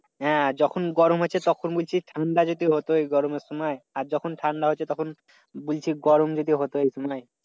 হ্যাঁ যখন গরম আছে তখন বলছি ঠাণ্ডা যদি হতো এই গরমের সময়। আর যখন ঠান্ডা হচ্ছে তখন বলছি গরম যদি হতো এই সময়।